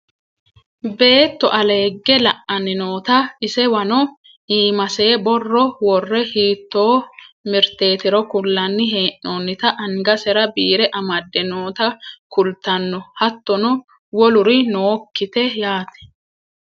beetto aleegge la'anna noota isewano iimase borro worre hiittoo mirteetiro kullanni hee'noonnita angasera biire amadde noota kultanno hattono woluri nookkite yaate